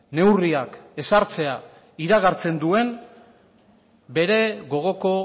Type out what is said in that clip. neurriak ezartzea iragartzen duen bere gogoko